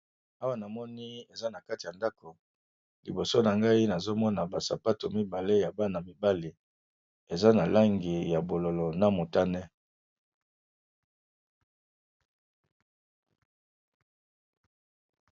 Awa na moni eza na kati ya ndako liboso na ngai nazomona basapato mibale ya bana mibale eza na langi ya bololo na motane.